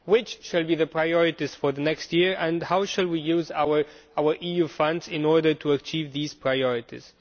What will be the priorities for the next year and how shall we use our EU funds in order to achieve these priorities?